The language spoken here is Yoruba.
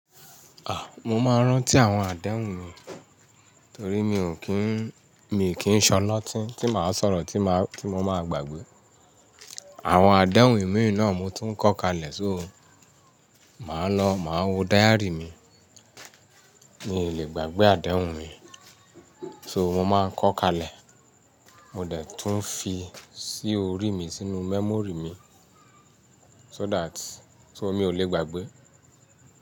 Mo máa ń rántí àwọn àdéhùn mi torí mi ò kí ń, mii kì n ṣ'ọlótí tí màá sọ̀rọ̀ tí mo máa gbàgbé. Àwọn àdéhùn mii náà mo tún kọ́ kalẹ̀, so màá lọ, màá wo diary mi. Mi ò lè gbàgbé àdéhùn mi, so mo máa ń kọ kalẹ̀. Mo dẹ̀ tún fi sí orí mi sínú memory mi, so that, so mí ò lè gbàgbé.